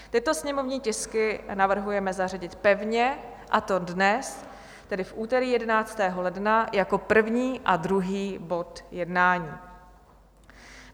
Tyto sněmovní tisky navrhujeme zařadit pevně, a to dnes, tedy v úterý 11. ledna, jako první a druhý bod jednání.